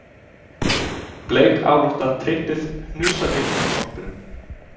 Bleikálótta tryppið hnusaði að hvolpinum.